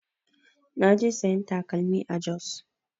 Na je sayan takalmi a Jos